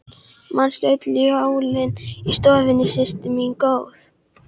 Manstu öll jólin í stofunni systir mín góð.